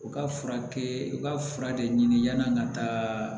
U ka furakɛ u ka fura de ɲini yan'an ka taa